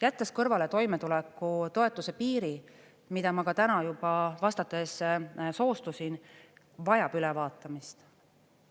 Jättes kõrvale toimetulekutoetuse piir, mida ma täna juba vastates soostusin, vajab ülevaatamist.